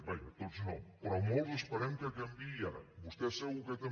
vaja tots no però molts esperem que canviï ara vostès segur que també